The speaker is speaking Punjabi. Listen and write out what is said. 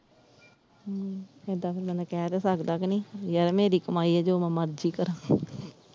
ਹਮ ਏਦਾਂ ਬੰਦਾ ਕਹਿ ਤੇ ਸਕਦਾ ਕ ਨਹੀਂ ਯਾਰ ਮੇਰੀ ਕਮਾਈ ਆ ਜੋ ਮੈਂ ਮਰਜੀ ਕਰਾਂ।